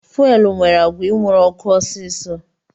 Fuelu nwere agwa inwuru ọkụ ọsisi